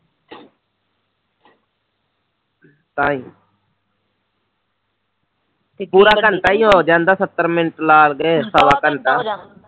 ਤਾਂਹੀ ਪੂਰਾ ਘੰਟਾ ਹੀ ਹੋ ਜਾਂਦਾ ਹੈ ਸੱਤਰ ਮਿੰਟ ਲਾ ਸਵਾ ਘੰਟਾ